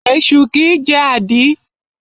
Esu kìí jẹ́ àdí.